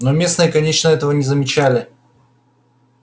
но местные конечно этого не замечали